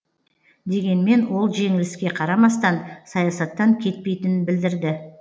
дегенмен ол жеңіліске қарамастан саясаттан кетпейтінін білдірді